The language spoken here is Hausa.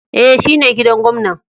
E,shine gidan gwamnan.